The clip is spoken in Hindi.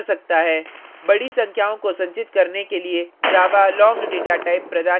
बडी संख्याओं को संचित करने के लिए java long data type प्रदान करता है